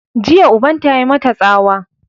Jiya ubanta ya yi mata tsawa!